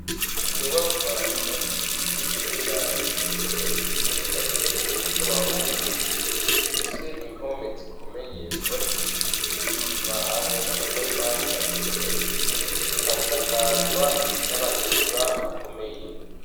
Inyubakwa yubatswe ku buhinga yagenewe ubu nzu bwasugumwe bw'abahungu ifise impome zikomeye zubakishijwe isima hamwe n'amatafari aturiye ikasakazwa n'amategura akomeye.